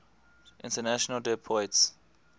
international des poids